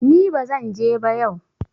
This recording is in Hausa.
ni ba zan je ba yau!